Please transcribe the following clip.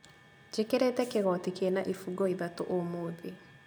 Njĩkĩrĩte kĩgoti kĩna ibungo ithatũ ũmũthĩ